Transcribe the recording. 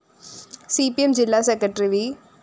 C P M ജില്ലാ secretary V